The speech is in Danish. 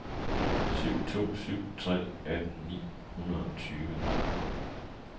syv to syv tre atten ni hundrede og toogtyve